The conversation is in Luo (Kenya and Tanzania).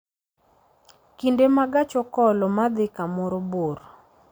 kinde ma gach okolo ma dhi kamoro bor